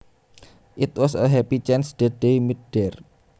It was a happy chance that they met there